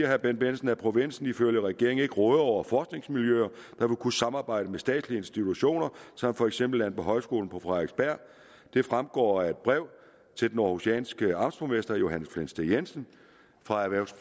herre bendt bendtsen at provinsen ifølge regeringen ikke rådede over forskningsmiljøer der ville kunne samarbejde med statslige institutioner som for eksempel landbohøjskolen på frederiksberg det fremgår af et brev til den århusianske amtsborgmester johannes flensted jensen fra